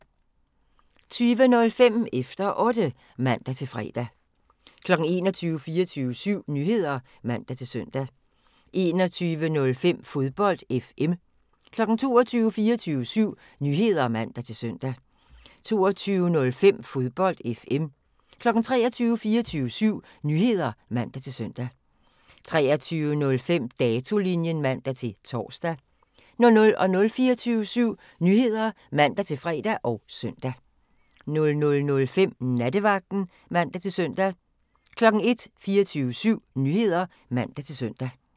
20:05: Efter Otte (man-fre) 21:00: 24syv Nyheder (man-søn) 21:05: Fodbold FM 22:00: 24syv Nyheder (man-søn) 22:05: Fodbold FM 23:00: 24syv Nyheder (man-søn) 23:05: Datolinjen (man-tor) 00:00: 24syv Nyheder (man-fre og søn) 00:05: Nattevagten (man-søn) 01:00: 24syv Nyheder (man-søn)